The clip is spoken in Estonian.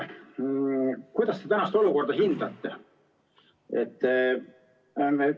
Kuidas te praegust olukorda hindate?